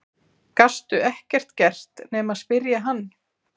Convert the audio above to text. Gastu ekkert gert nema spyrja hann?